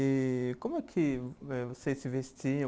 E como é que eh vocês se vestiam?